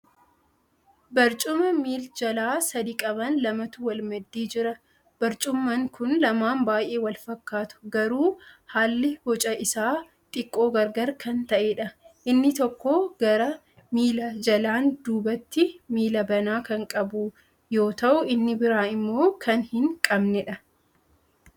Barcummaa miil-jala sadi qaban lamatu wal maddii jira. Barcummaan kuni lamaan baay'ee wal fakkaatu garuu haalli boca isaa xiqqoo gargar kan ta'eedha. Inni tokko gara miila jalaan dubatti miila banaa kan qabu yoo ta'u inni biraa immoo kan hin qabneedha.